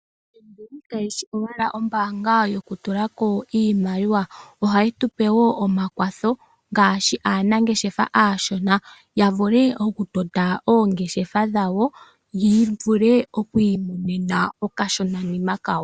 FNB kayi shi owala ombaanga yokupungulwa iimaliwa. Ohayi pe woo aanangeshefa aashona omakwatho opo ya vule okutota po oongeshefa dhawo yi imonene okashonanima kawo.